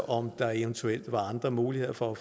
om der eventuelt var andre muligheder for at